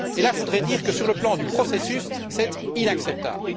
Et là, je voudrais dire que, sur le plan du processus, c'est inacceptable.